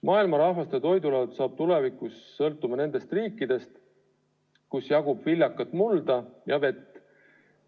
Maailma rahvaste toidulaud saab tulevikus sõltuma nendest riikidest, kus jagub viljakat mulda ja vett.